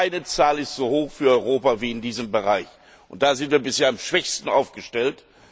Keine Zahl ist so hoch für Europa wie in diesem Bereich, und da sind wir bisher am schwächsten aufgestellt.